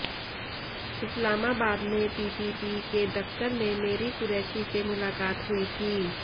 इस्लामाबाद में पीपीपी के दफ़्तर में मेरी क़ुरैशी से मुलाक़ात हुई थी